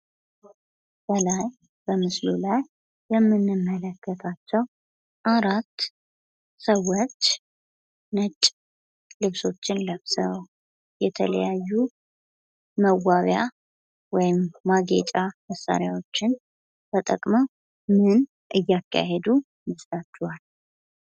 ከላይ በምስሉ ላይ የምንመለከታቸው አራት ሰዎች ነጭ ልብሶችን ለብሰው የተለያዩ መዋቢያ ወይም ማጌጫ መሳሪያዎችን ተጠቅመው ምን እያካሄዱ ይመስላችኋል?